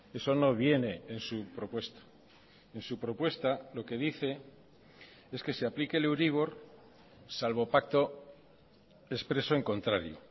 eso no viene en su propuesta en su propuesta lo que dice es que se aplique el euribor salvo pacto expreso en contrario